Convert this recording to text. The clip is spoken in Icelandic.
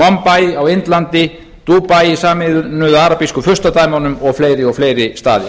mombay á indlandi dubai í sameinuðu arabísku furstadæmunum og fleiri og fleiri staðir